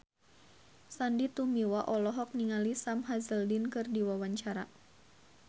Sandy Tumiwa olohok ningali Sam Hazeldine keur diwawancara